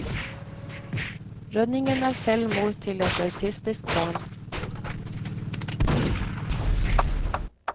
Rønningen er selv mor til et autistisk barn.